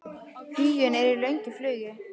Huginn er í löngu flugi.